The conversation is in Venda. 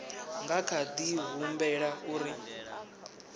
nga kha di humbela uri